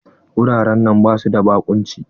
Wuraren nan basu da baƙunci.